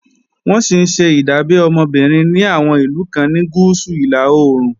Wọ́n sì ńṣe ìdábẹ́ ọmọ obìnrin ní àwọn ìlú kan ní Gúúsù-Ìlà-oòrùn